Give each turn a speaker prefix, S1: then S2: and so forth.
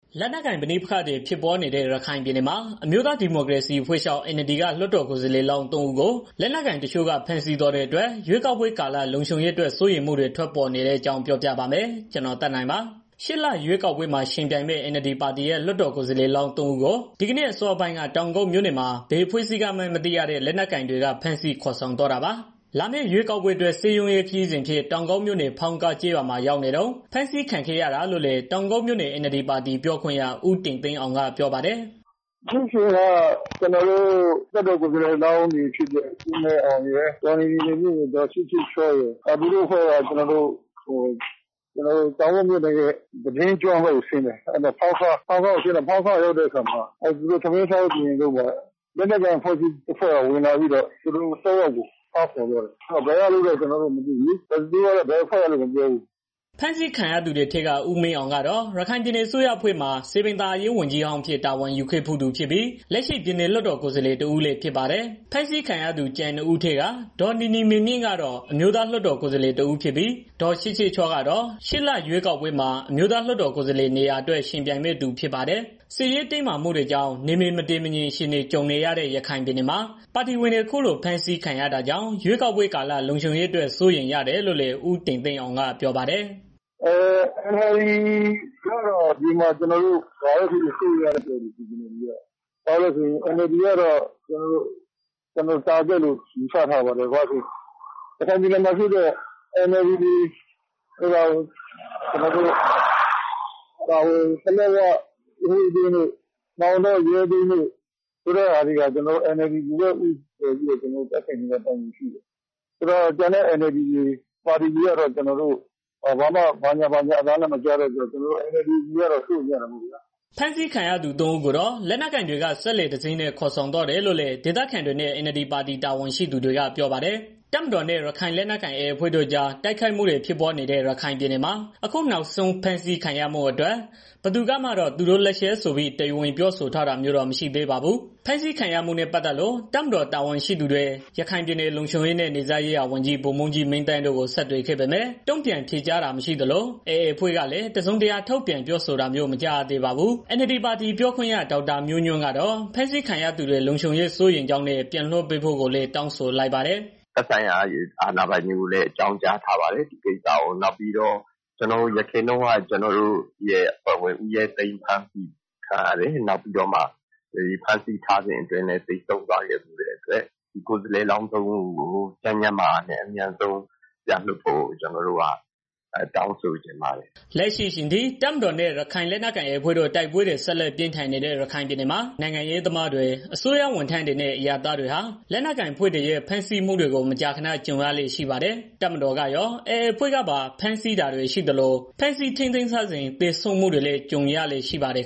S1: လက်နက်ကိုင် ပဋိပက္ခတွေ ဖြစ်ပွားနေတဲ့ ရခိုင်ပြည်နယ်မှာ အမျိုးသားဒီမိုကရေစီအဖွဲ့ချုပ် NLD က ကိုယ်စားလှယ်လောင်း ၃ ဦးကို လက်နက်ကိုင်တချို့က ဖမ်းဆီးသွားတဲ့အတွက် ရွေးကောက်ပွဲကာလ လုံခြုံရေးအတွက် စိုးရိမ်မှုတွေ ထွက်ပေါ်လာတဲ့အကြောင်းကို ဗွီအိုအေ မြန်မာပိုင်း သတင်းထောက် ကိုသက်နိုင်က ပြောပြပါမယ်။ ရှေ့လရွေးကောက်ပွဲမှာ ယှဉ်ပြိုင်မယ့် NLD ပါတီရဲ့ လွှတ်တော်ကိုယ်စားလှယ်လောင်း ၃ ဦး ဒီနေ့အစောပိုင်းက တောင်ကုတ်မြို့နယ်မှာ ဘယ်အဖွဲ့အစည်းကမှန်း မသိရတဲ့ လက်နက်ကိုင်တွေက ဖမ်းဆီးခေါ်ဆောင်သွားတာပါ။ လာမယ့်ရွေးကောက်ပွဲအတွက် စည်းရုံးရေး ခရီးစဉ်အဖြစ် တောင်ကုတ်မြို့နယ် ဖောင်းကားကျေးရွာမှာ ရောက်နေတုန်း ဖမ်းဆီးခံခဲ့ရတာလို့လည်း တောင်ကုတ်မြို့နယ် NLD ပါတီပြောခွင့်ရ ဦးတင်သိန်းအောင်က ပြောပါတယ်။
S2: "ကျနော်တို့ လွှတ်တော်ကိုယ်စားလှယ်လောင်းတွေ ဖြစ်တဲ့ ဦးမင်းအောင်ရယ် ဒေါ်နီနီမြင့်ရယ် ဒေါ် ချစ်ချစ်ချော့ရယ် သူတို့အဖွဲ့က ကျနော်တို့ တောင်ကုတ်မြို့နယ်ရဲ့ ဖောင်းခါးကျေးရွာကို စည်းရုံးရေးဆင်းကြတာ ဖြစ်ပြီး သူတို့ ထမင်းစားဖို့ ပြင်နေတဲ့အခါမှာ လက်နက်ကိုင် အဖွဲ့တစ်ခုက ဝင်လာပြီးတော့ သူတို့သုံးယောက်ကို ဖမ်းခေါ်သွားတယ်။ ဘယ်အဖွဲ့ကလဲတော့ ကျနော်တို့လည်း မသိဘူး။"
S1: ဖမ်းဆီးခံရသူတွေထဲက ဦးမင်းအောင်ကတော့ ရခိုင်ပြည်နယ်အစိုးရအဖွဲ့ မှာ စည်ပင်သာယာရေး ဝန်ကြီးဟောင်းအဖြစ် တာဝန်ယူခဲ့ဖူးသူဖြစ်ပြီး လက်ရှိပြည်နယ်လွှတ်တော်ကိုယ်စားလှယ်တဦးလည်းဖြစ်ပါတယ်။ ဖမ်းဆီးခံရသူ ကျန် ၂ ဦးထဲက ဒေါ်နီနီမေမြင့်ကတော့ အမျိုးသားလွှတ်တော် ကိုယ်စားလှယ် တဦးဖြစ်ပြီး၊ ဒေါ်ချစ်ချစ်ချော့က တော့ ရှေ့လရွေးကောက်ပွဲမှာ အမျိုးသားလွှတ်တော် ကိုယ်စားလှယ်နေရာအတွက် ယှဉ်ပြိုင်မယ့်သူ ဖြစ်ပါတယ်။ စစ်ရေးတင်းမာမှုတွေကြောင့် နယ်မြေမတည်မငြိမ် အခြေအနေ ကြုံနေရတဲ့ ရခိုင်ပြည်နယ်မှာ ပါတီဝင်တွေ အခုလို ဖမ်းဆီးခံခဲ့ရတာကြောင့် ရွေးကောက်ပွဲကာလ လုံခြုံရေးအတွက် စိုးရိမ်တယ်လို့လည်း ဦးတင်သိန်းအောင်က ပြောပါတယ်
S2: ။ "NLD ကတော့ ဒီမှာ စိုးရိမ်ရတဲ့ အခြေအနေရှိတယ်။ ဘာဖြစ်လို့လည်း ဆိုတော့ NLD က ပစ်မှတ်ဖြစ်နေတာပေါ့ ရခိုင်ပြည်နယ်မှာ ဥပမာ ပလက်ဝက NLD လွှတ်တော်ကိုယ်စားလှယ်တို့ မောင်တောက ဦးရဲသိန်းတို့ ဖမ်းဆီးခံရတာရှိတော့ NLD ကိုပဲ ဦးတည်ပြီး တိုက်ခိုက်နေတဲ့ သဘောရှိတယ်။ တခြားပါတီတွေကလည်း ဘာသံမှ မကြားတော့ ကျနော်တို့ NLD ပါတီကတော့ စိုးရိမ်ရတာပေါ့ဗျာ။
S1: " ဖမ်းဆီးခံခဲ့ရသူ ၃ ဦးကိုတော့ လက်နက်ကိုင်တွေက စက်လှေတစင်းနဲ့ ခေါ်ဆောင်သွားတယ်လို့လည်း ဒေသခံတွေနဲ့ NLD ပါတီ တာဝန်ရှိသူတွေက ပြောပါတယ်။ တပ်မတော်နဲ့ ရခိုင်လက်နက်ကိုင် AA အဖွဲ့တို့ကြား တိုက်ခိုက်မှုတွေဖြစ်ပွားနေတဲ့ ရခိုင်ပြည်နယ်မှာ အခုနောက်ဆုံး ဖမ်းဆီးခံရမှုအတွက် ဘယ်သူကမှတော့ သူတို့လက်ချက်ဆိုပြီး တရားဝင် ပြောဆိုတာမျိုးတော့ မရှိသေးပါဘူး။ ဖမ်းဆီးခံရမှုနဲ့ ပတ်သက်လို့ တပ်မတော် တာဝန်ရှိသူတွေ ရခိုင်ပြည်နယ် လုံခြုံရေးနဲ့ နယ်စပ်ရေးရာဝန်ကြီး ဗိုလ်မှူးကြီး မင်းသန်းတို့ကို ဆက်သွယ်ခဲ့ပေမဲ့ တုံ့ပြန်ဖြေကြားတာ မရှိသလို၊ AA အဖွဲ့ကလည်း တစုံတရာ ထုတ်ပြန်ပြောဆိုတာမျိုး မကြားရသေးပါဘူး။ NLD ပါတီ ပြောခွင့်ရ ဒေါက်တာမျိုးညွန့်ကတော့ ဖမ်းဆီးခံရသူတွေ လုံခြုံရေး စိုးရိမ်ကြောင်းနဲ့ ပြန်လွှတ်ပေးဖို့လည်း တောင်းဆိုလိုက်ပါတယ်။
S2: "သက်ဆိုင်ရာ အာဏာပိုင်တွေကိုလည်း အကြောင်းကြားထားပါတယ်။ ဒီကိစ္စကို ကျနော်တို့ ယခင်တုန်းက ဦးရဲသိန်း ဖမ်းဆီးခံရတယ်။ နောက်ပြီးတော့ ဖမ်းဆီးထားစဉ်အတွင်းမှာပဲ သေဆုံးသွားခဲ့တဲ့အတွက် ကိုယ်စားလှယ်လောင်းသုံးဦးကို ကျန်းကျန်းမာမာနဲ့ အမြန်ဆုံးပြန်လွှတ်ပေးဖို့ကို ကျနော်တို့ တောင်းဆိုချင်ပါတယ်။
S1: " လက်ရှိအချိန်ထိ တပ်မတော်နဲ့ ရခိုင်လက်နက်ကိုင် AA အဖွဲ့တို့ တိုက်ပွဲတွေ ဆက်လက်ပြင်းထန်နေတဲ့ ရခိုင်ပြည်နယ်မှာ နိုင်ငံရေးသမားတွေ၊ အစိုးရဝန်ထမ်းတွေနဲ့ အရပ်သားတွေ လက်နက်ကိုင်အဖွဲ့တွေရဲ့ ဖမ်းဆီးမှုတွေ မကြာခဏ ကြုံရလေ့ရှိပါတယ်။ တပ်မတော်ရော AA အဖွဲ့ကပါ ဖမ်းဆီးတာတွေ ရှိနေသလို ဖမ်းဆီးထိန်းသိမ်းထားစဉ် သေဆုံးမှုတွေလည်း ကြုံရလေ့ရှိပါတ
S2: ယ်